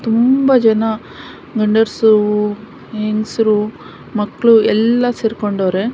ತುಂಬಾ ಜನ ಗಂಡ್ಸರು ಹೆಂಗಸ್ರು ಮಕ್ಕಳು ಎಲ್ಲ ಸೇರ್ಕಂಡವ್ರೆ.